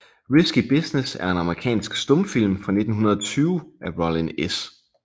Risky Business er en amerikansk stumfilm fra 1920 af Rollin S